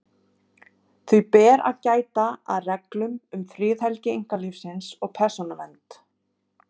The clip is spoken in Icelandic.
Því ber að gæta að reglum um friðhelgi einkalífsins og persónuvernd.